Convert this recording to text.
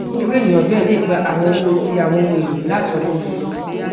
irú ènìyàn bẹẹ lè gba àwọn owó ti àwọn ohun èlò láti ọwọ olùyọ